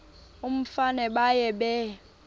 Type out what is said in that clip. umfana baye bee